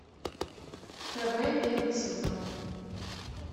хб первый сезон